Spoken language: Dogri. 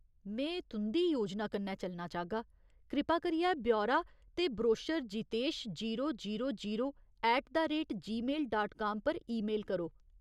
में तुं'दी योजना कन्नै चलना चाहगा। कृपा करियै ब्यौरा ते brochure Jitesh zero zero zero at the rate Gmail डाक्टरट काम पर ईमेल करो।